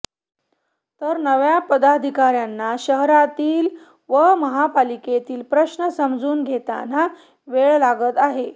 तर नव्या पदाधिकार्यांना शहरातील व महापालिकेतील प्रश्न समजून घेताना वेळ लागत आहे